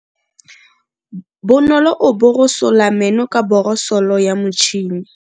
Bonolo o borosola meno ka borosolo ya motšhine.